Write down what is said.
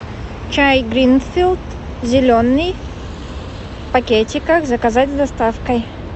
чай гринфилд зеленый в пакетиках заказать с доставкой